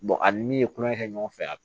ani min ye kulonkɛ kɛ ɲɔgɔn fɛ